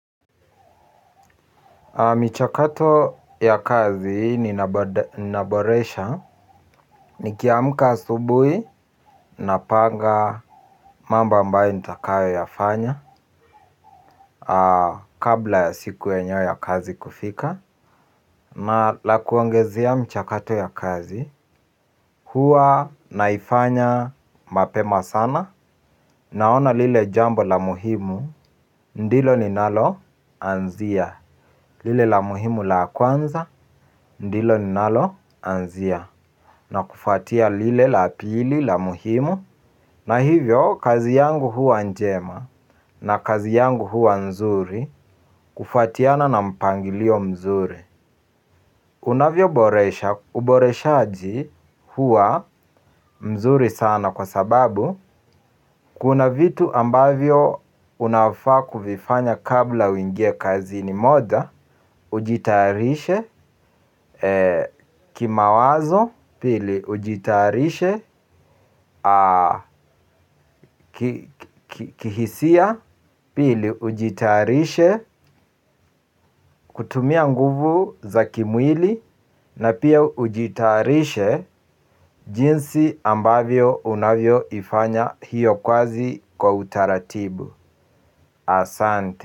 Michakato ya kazi ninaboresha nikiamka asubuhi napanga mambo ambaye nitakayoyafanya kabla ya siku yenyewe ya kazi kufika na la kuongezea mchakato ya kazi huwa naifanya mapema sana naona lile jambo la muhimu ndilo ninaloanzia lile la muhimu la kwanza ndilo ninaloanzia na kufuatia lile la pili la muhimu na hivyo kazi yangu huwa njema na kazi yangu huwa nzuri. Kufuatiana na mpangilio mzuri unavyoboresha uboreshaji huwa mzuri sana kwa sababu kuna vitu ambavyo unafaa kuvifanya kabla uingie kazini moja ujitayarishe kimawazo pili ujitayarishe kihisia pili ujitarishe kutumia nguvu za kimwili na pia ujitayarishe jinsi ambavyo unavyoifanya hiyo kazi kwa utaratibu asante.